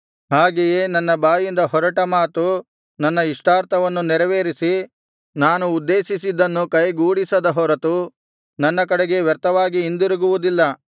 ಹಾಗೆಯೇ ನನ್ನ ಬಾಯಿಂದ ಹೊರಟ ಮಾತು ನನ್ನ ಇಷ್ಟಾರ್ಥವನ್ನು ನೆರವೇರಿಸಿ ನಾನು ಉದ್ದೇಶಿಸಿದ್ದನ್ನು ಕೈಗೂಡಿಸಿದ ಹೊರತು ನನ್ನ ಕಡೆಗೆ ವ್ಯರ್ಥವಾಗಿ ಹಿಂದಿರುಗುವುದಿಲ್ಲ